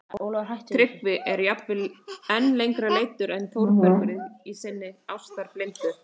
Tryggvi er jafnvel enn lengra leiddur en Þórbergur í sinni ástarblindu